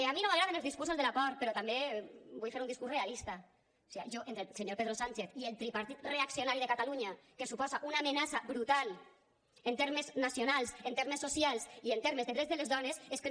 a mi no m’agraden els discursos de la por però també vull fer un discurs realista o siga jo entre el senyor pedro sánchez i el tripartit reaccionari de catalunya que suposa una amenaça brutal en termes nacionals en termes socials i en termes de drets de les dones és que no